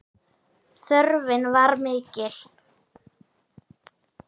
Þörfin var mikil.